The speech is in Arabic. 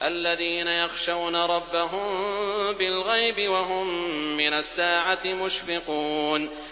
الَّذِينَ يَخْشَوْنَ رَبَّهُم بِالْغَيْبِ وَهُم مِّنَ السَّاعَةِ مُشْفِقُونَ